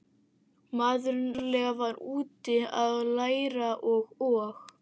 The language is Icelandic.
maður náttúrlega var úti að læra og og